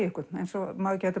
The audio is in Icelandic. einhvern eins og maður gæti